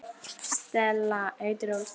Stella heitir hún.